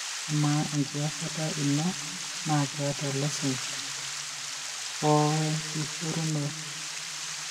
ama engiyasata ino na keeta license o wenkishoruno?